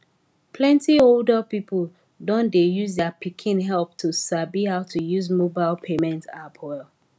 plenti older pipo don dey use their pikin help to sabi how to use mobile payment app well